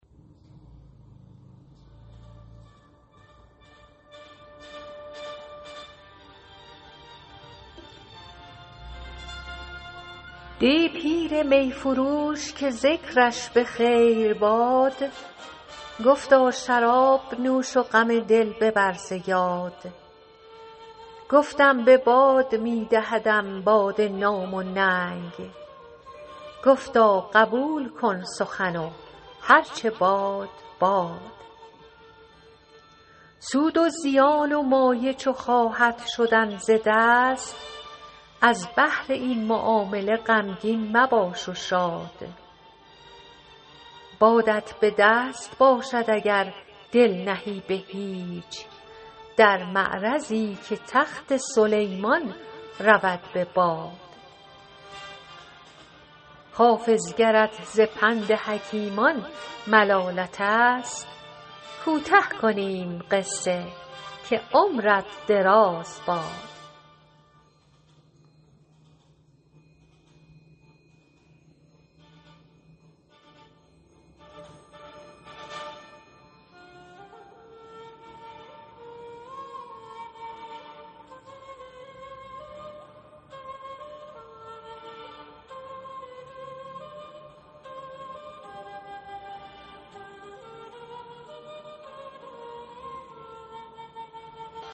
دی پیر می فروش که ذکرش به خیر باد گفتا شراب نوش و غم دل ببر ز یاد گفتم به باد می دهدم باده نام و ننگ گفتا قبول کن سخن و هر چه باد باد سود و زیان و مایه چو خواهد شدن ز دست از بهر این معامله غمگین مباش و شاد بادت به دست باشد اگر دل نهی به هیچ در معرضی که تخت سلیمان رود به باد حافظ گرت ز پند حکیمان ملالت است کوته کنیم قصه که عمرت دراز باد